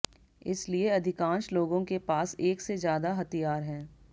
इसलिए अधिकांश लोगों के पास एक से ज्यादा हथियार हैं